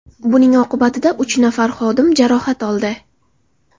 Buning oqibatida uch nafar xodim jarohat oldi.